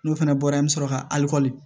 N'o fana bɔra an bɛ sɔrɔ ka alikoni